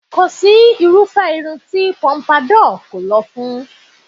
Kò si irúfé irun tí Pompadour kò lọ fún